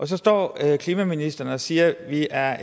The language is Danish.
så står klimaministeren og siger at vi er